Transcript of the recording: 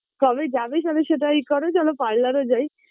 কবে যাবে তালে সেটাই করো, চলো parlour -এ যাই